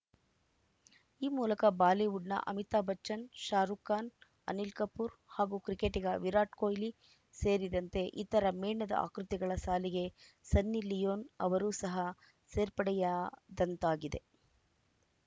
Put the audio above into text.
ಈ ಮೂಲಕ ಬಾಲಿವುಡ್‌ನ ಅಮಿತಾಭ್‌ ಬಚ್ಚನ್‌ ಶಾರುಖ್‌ ಖಾನ್‌ ಅನಿಲ್‌ ಕಪೂರ್‌ ಹಾಗೂ ಕ್ರಿಕೆಟಿಗ ವಿರಾಟ್‌ ಕೊಹ್ಲಿ ಸೇರಿದಂತೆ ಇತರ ಮೇಣದ ಆಕೃತಿಗಳ ಸಾಲಿಗೆ ಸನ್ನಿ ಲಿಯೋನ್‌ ಅವರು ಸಹ ಸೇರ್ಪಡೆಯಾ ದಂತಾಗಿದೆ